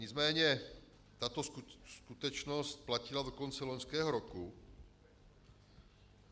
Nicméně tato skutečnost platila do konce loňského roku.